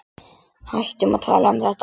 Hættum að tala um þetta.